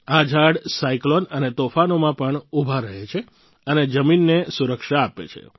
આ ઝાડ સાયક્લોન અને તોફાનોમાં પણ ઉભા રહે છે અને જમીનને સુરક્ષા આપે છે